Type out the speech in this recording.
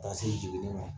Ka se jiginni ma